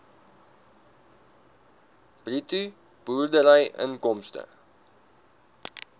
bruto boerderyinkomste